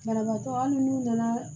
Banabaatɔ hali n'u nana